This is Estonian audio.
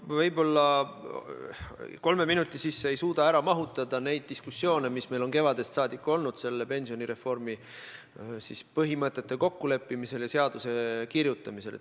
Ma ei suuda kolme minuti sisse mahutada neid diskussioone, mis meil on kevadest saadik olnud pensionireformi põhimõtete kokkuleppimisel ja seaduseelnõu kirjutamisel.